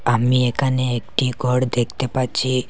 আমি এখানে একটি গর দেখতে পাচ্ছি।